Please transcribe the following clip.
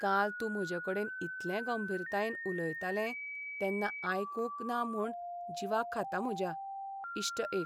काल तूं म्हजेकडेन इतलें गंभीरतायेन उलयतालें तेन्ना आयकूंक ना म्हूण जीवाक खाता म्हज्या. इश्ट एक